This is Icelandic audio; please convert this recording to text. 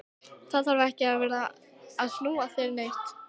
Þá þarf ég ekki að vera að snúa þér neitt.